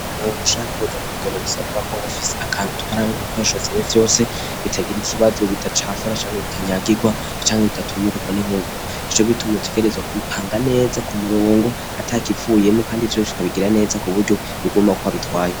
Muntu ushaka kuja ku rugendo, bisabwako uba ufise akantu utwaramwo ibikoresho vyiwe vyose, bitagura ikibazo, bidacafura, canke bitangagurwa canke bidatumurigwa n'inkungugu. Nicogituma utegerezwa kubipanga neza kumurongo atakivuyemwo Kandi vyose ukabigira neza bikaguma uko wabitwaye.